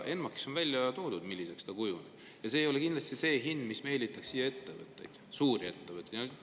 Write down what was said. ENMAK‑is on välja toodud, milliseks see kujuneb, ja see ei ole kindlasti hind, mis meelitaks siia suuri ettevõtteid.